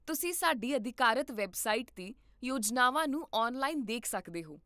ਤੁਸੀਂ ਸਾਡੀ ਅਧਿਕਾਰਤ ਵੈੱਬਸਾਈਟ 'ਤੇ ਯੋਜਨਾਵਾਂ ਨੂੰ ਔਨਲਾਈਨ ਦੇਖ ਸਕਦੇ ਹੋ